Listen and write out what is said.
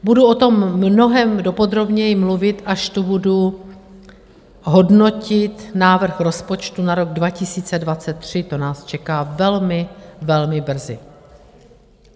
Budu o tom mnohem podrobněji mluvit, až tu budu hodnotit návrh rozpočtu na rok 2023, to nás čeká velmi, velmi brzy.